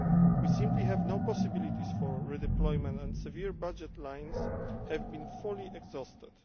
We simply have no possibilities for redeployment, and several budget lines have been fully exhausted.